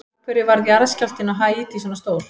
Af hverju varð jarðskjálftinn á Haítí svona stór?